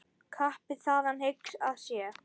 Kappi þaðan hygg að sé.